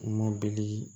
Kuma bɛli